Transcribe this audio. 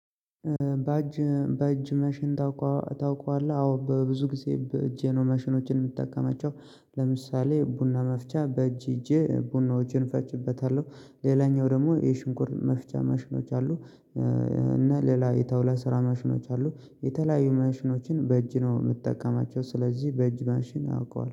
በእጅ በእጅ መሽን ታውቃለህ አዎ በብዙ ጊዜ እጄ ነው መሽኖችን የምትጠቀማቸው ለምሳሌ ቡና መፍጫቻ በእጅ ይዜ ቡናው እጄ እፈጭበታለሁ ሌላኛው ደግሞ የሽንኩር መፍጫ መሽኖች አሉ። እና ሌላ የተውላ ስራ መሽኖች አሉ። የተለያዩ መሽኖችን በእጅ ነው የምትጠቀማቸው ስለዚህ በእጅ ማንሽን አውቀዋል